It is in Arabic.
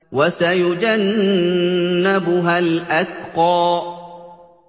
وَسَيُجَنَّبُهَا الْأَتْقَى